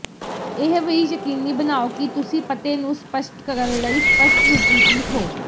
ਇਹ ਵੀ ਯਕੀਨੀ ਬਣਾਓ ਕਿ ਤੁਸੀਂ ਪਤੇ ਨੂੰ ਸਪਸ਼ਟ ਕਰਨ ਲਈ ਸਪਸ਼ਟ ਰੂਪ ਵਿੱਚ ਲਿਖੋ